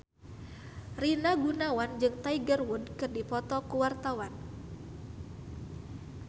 Rina Gunawan jeung Tiger Wood keur dipoto ku wartawan